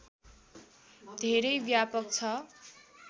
धेरै व्यापक छ